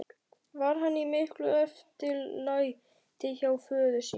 Var hann í miklu eftirlæti hjá föður sínum.